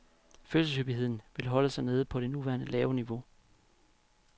Fødselshyppigheden vil holde sig nede på det nuværende lave niveau.